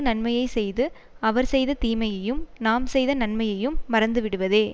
நன்மையை செய்து அவர் செய்த தீமையையும் நாம் செய்த நன்மையையும் மறந்துவிடுவதே